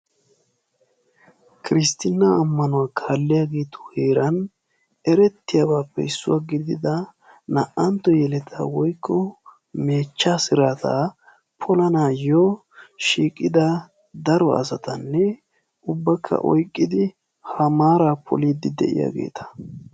Kiristtinnaa amanuwa kaalliyaagetu heeran erettiyabaappe issuwaa gidida naa"antto yeletaa woykko meechchaa siraataa polanayyo shiiqida daro asatanne ubbakka oyqqidi ha maaraa poliiddi de"iyaageeta.